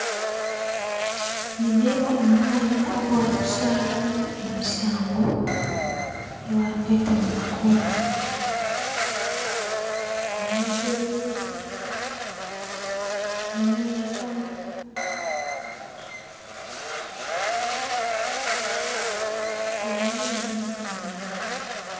Nindeeba omwanya ogubarikushariramu emisango eyibarikweta ngu nikooti. Harimu entebe, harimu meeza harimu na emizindaaro